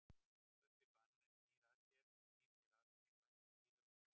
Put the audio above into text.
Guffi banani snýr sér að henni og er ekki blíður á manninn.